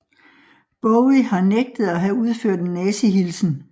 Bowie har nægtet at have udført en nazihilsen